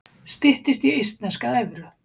Styttist í eistneska evru